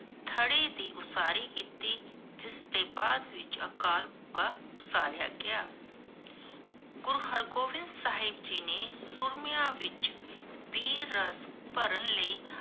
ਥੜੀ ਦੀ ਉਸਾਰੀ ਕੀਤੀ, ਜਿਸ ਤੋਂ ਬਾਅਦ ਵਿਚ ਅਕਾਲ ਉਸਰਾਯਾ ਗਿਆ । ਗੁਰੂ ਹਰ ਗੋਬਿੰਦ ਸਾਹਿਬ ਜੀ ਨੇ ਵਿਚ ਵੀਰ ਰਾਸ ਭਰਨ ਲਾਇ